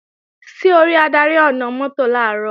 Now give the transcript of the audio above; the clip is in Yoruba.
Ṣé o rí adarí ọ̀nà-mọ́tò làárọ̀?